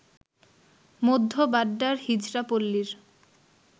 মধ্য বাড্ডার হিজড়া পল্লীর